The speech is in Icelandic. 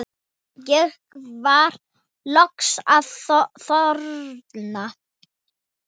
Ég var loksins að þorna